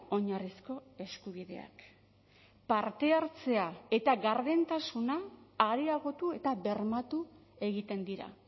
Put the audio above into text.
oinarrizko eskubideak parte hartzea eta gardentasuna areagotu eta bermatu egiten dira